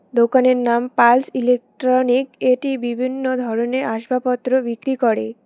দোকানের নাম pulse electronic এটি বিভিন্ন ধরনের আসবাবপত্র বিক্রি করে।